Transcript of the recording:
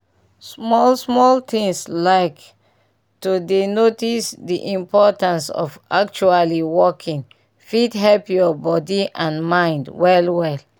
small small things like to dey notice the importance of actually walking fit help your body and mind well well.